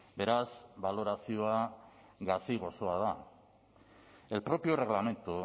beraz balorazioa gazi gozoa da el propio reglamento